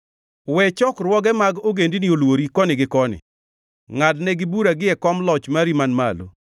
We chokruoge mag ogendini olwori koni gi koni. Ngʼad negi bura gie kom loch mari man malo;